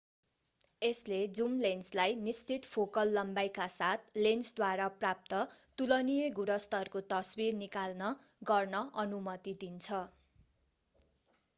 यसले जुम लेन्सलाई निश्चित फोकल लम्बाइका साथ लेन्सद्वारा प्राप्त तुलनीय गुणस्तरको तस्बिर निकाल्न गर्न अनुमति दिन्छ